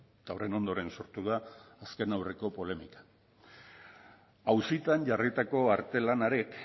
eta horren ondoren sortu da azken aurreko polemika auzitan jarritako artelan horrek